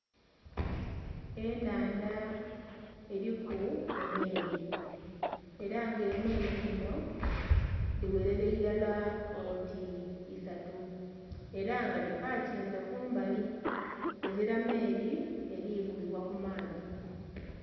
Enhandha eriku emeeri era nga emeeri dhinho dhi gherela irala oti isatu era nga dhipakinze kumbali, ezila meeri eri vugibwa ku maadhi.